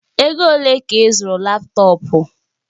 Ego ole ka ị zụrụ laptọọpụ?